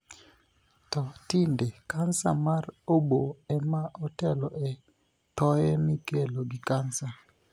To tinde, kansa mar oboo ema otelo e thoye mikelo gi kansa.